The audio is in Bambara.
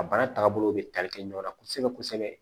A baara tagabolo bɛ tali kɛ ɲɔgɔn na kosɛbɛ kosɛbɛ